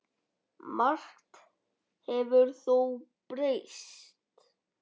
Margt hefur þó breyst.